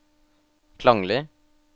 klanglig